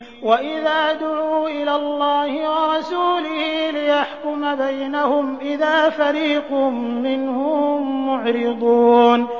وَإِذَا دُعُوا إِلَى اللَّهِ وَرَسُولِهِ لِيَحْكُمَ بَيْنَهُمْ إِذَا فَرِيقٌ مِّنْهُم مُّعْرِضُونَ